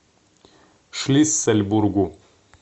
шлиссельбургу